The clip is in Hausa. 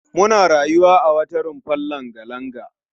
Suna rayuwa a wata rumfar langa-langa